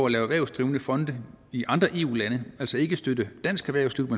lave erhvervsdrivende fonde i andre eu lande altså ikke støtte dansk erhvervsliv